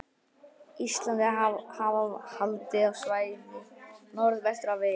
Íslandi, hafa haldið á svæðið norðvestur af eyjunni.